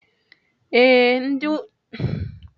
Ee, ndị nnyocha ụlọ ọrụ bịara taa.